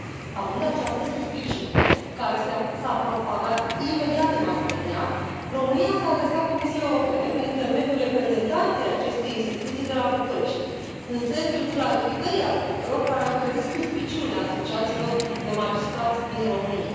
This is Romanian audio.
Având această suspiciune, care s a propagat imediat în mass media, România s a adresat Comisiei Europene prin intermediul Reprezentanței acestei instituții de la București în sensul clarificării aspectelor care au trezit suspiciunea asociațiilor de magistrați din România.